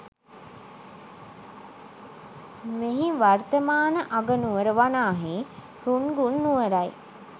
මෙහි වර්තමාන අගනුවර වනාහි රුන්ගුන් නුවරයි